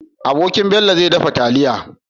Abokin Bello zai dafa taliya